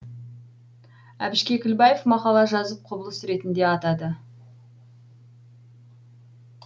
әбіш кекіблаев мақала жазып құбылыс ретінде атады